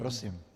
Prosím.